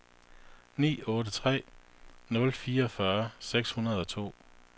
ni otte tre nul fireogfyrre seks hundrede og to